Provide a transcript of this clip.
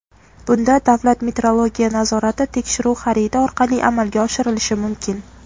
Bunda davlat metrologiya nazorati tekshiruv xaridi orqali amalga oshirilishi mumkin.